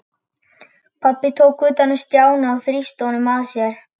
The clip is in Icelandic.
Pabbi tók utan um Stjána og þrýsti honum að sér.